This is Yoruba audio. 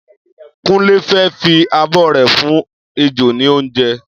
Kúnlé fẹ́ fi abọ́ rẹ̀ fún ejò ní oúnjẹ.